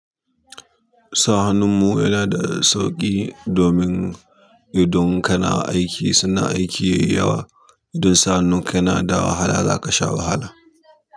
Sa hannun mu yana da sauƙi domin idan kana aiki, suna aiki yayi yawa. Idan sa hannun kana da wahala, za ka sha wahala.